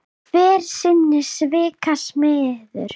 Hver er sinna svika smiður.